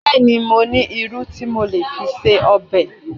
Bẹ́ẹ̀ni, mo ní irú tí mo lè fi se ọbẹ̀